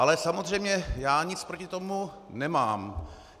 Ale samozřejmě já nic proti tomu nemám.